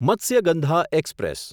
Matsyagandha express